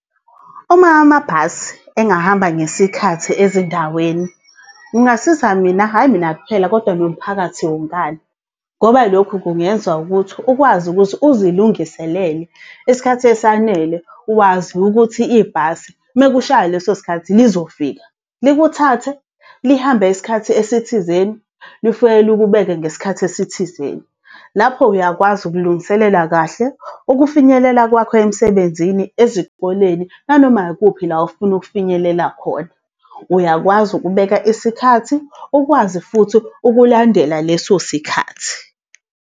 Uma amabhasi engahamba ngesikhathi ezindaweni, kungasiza mina hhayi mina kuphela kodwa nomphakathi wonkana. Ngoba lokhu kungenza ukuthi ukwazi ukuthi uzilungiselele isikhathi esanele wazi ukuthi ibhasi mekushaya leso sikhathi lizofika likuphathe lihambe isikhathi esithizeni lifike likubeke ngesikhathi esithizeni. Lapho uyakwazi ukulungiselela kahle ukufinyelela kwakho emsebenzini, ezikoleni, nanoma ikuphi la ofuna ukufinyelela khona. Uyakwazi ukubeka isikhathi, ukwazi futhi ukulandela leso sikhathi.